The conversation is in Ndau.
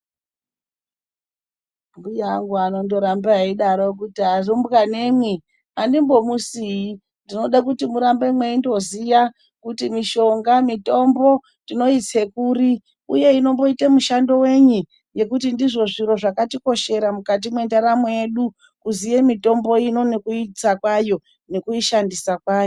Mbuya angu anondoramba eidaro kuti arumbwanemwi andimbomusii. Ndinode kuti murambe mweindoziya kuti mishonga, mitombo, tinoitse kuri uye inomboite mushando wenyi ngekuti ndizvo zviro zvakatikoshera mukati mwendaramo yedu, kuziye mitombo ino, nekuitsa kwayo nekuishandisa kwayo.